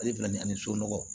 Ale filɛ nin ye ani somɔgɔw